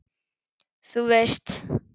Þú veist.